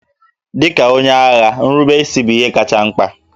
Dị ka onye agha, nrubeisi bụ ihe kacha mkpa